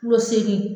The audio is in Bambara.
Kulo segin